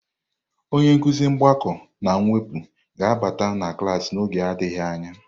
Onye nkuzi mgbakọ na mwepụ ga-abata na klaasị n'oge adịghị anya.